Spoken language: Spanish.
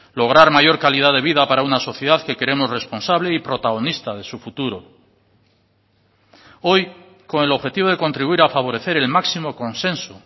lograr mayor calidad de vida para una sociedad que queremos responsable y protagonista de su futuro hoy con el objetivo de contribuir a favorecer el máximo consenso